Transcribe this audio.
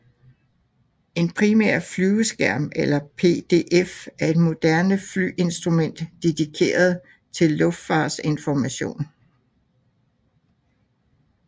En primær flyveskærm eller PFD er et moderne flyinstrument dedikeret til luftfartsinformation